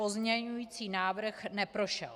Pozměňovací návrh neprošel.